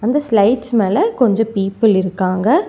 அந்த ஸ்லைட்ஸ் மேல கொஞ்சோ பீப்பிள் இருக்காங்க.